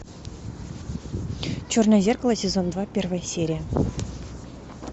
черное зеркало сезон два первая серия